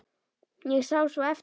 Ég sé svo eftir þér.